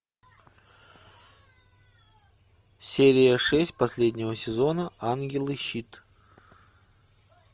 серия шесть последнего сезона ангелы щит